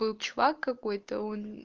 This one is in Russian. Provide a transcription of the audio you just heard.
был чувак какой-то он